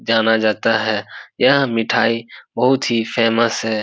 जाना जाता है यह मिठाई बहुत ही फेमस है।